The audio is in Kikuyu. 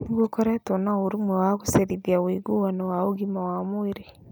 Nĩ gũkoretwo na ũrũmwe wa kũgacĩrithia ũiguano wa ũgima wa mwĩrĩ.